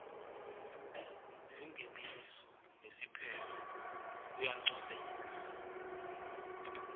singeniso nesiphetfo kuyancomeka